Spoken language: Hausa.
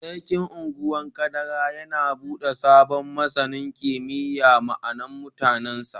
Sarkin Ungwan Kadara yana bude sabon masanin kimiyyar ma'a mutanin sa.